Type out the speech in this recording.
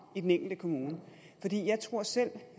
i den enkelte kommune jeg tror selv at